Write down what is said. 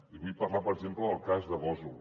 li vull parlar per exemple del cas de gósol